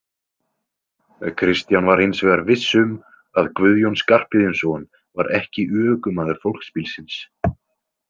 Kristján var hins vegar viss um að Guðjón Skarphéðinsson var ekki ökumaður fólksbílsins.